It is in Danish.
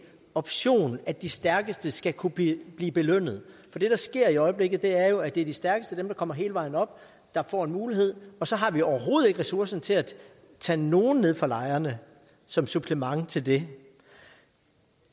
option at de stærkeste skal kunne blive blive belønnet for det der sker i øjeblikket er jo at det er de stærkeste dem der kommer hele vejen op der får en mulighed og så har vi overhovedet ikke ressourcer til at tage nogle nede fra lejrene som supplement til det